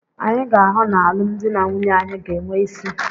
Anyị ga-ahụ na alụmdi na nwunye anyị ga-enwe isí.